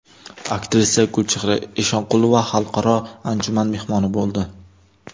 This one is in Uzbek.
Aktrisa Gulchehra Eshonqulova xalqaro anjuman mehmoni bo‘ldi.